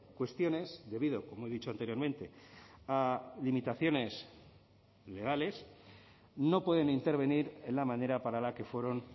cuestiones debido como he dicho anteriormente a limitaciones legales no pueden intervenir en la manera para la que fueron